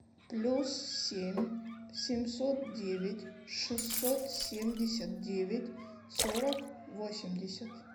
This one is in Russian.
плюс семь семьсот девять шестьсот семьдесят девять сорок восемьдесят